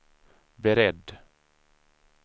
beredd